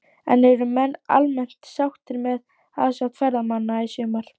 En eru menn almennt sáttir með aðsókn ferðamanna í sumar?